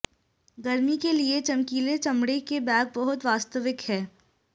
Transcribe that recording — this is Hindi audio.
गर्मी के लिए चमकीले चमड़े के बैग बहुत वास्तविक हैं